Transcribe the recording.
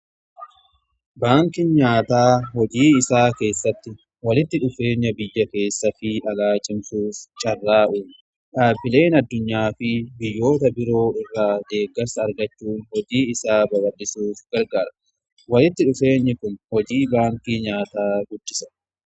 Baankii nyaataa hojii isaa keessatti walitti dhufeenya biyya keessa fi alaa cimsuuf carraaquun dhaabbileen addunyaa fi biyyoota biroo irraa deeggarsa argachuu hojii isaa barbaachisuuf gargaara. Walitti dhufeenyi kun hojii baankii nyaataa guddisa.